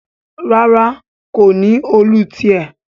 ràrá ko ní Òòlù tiè.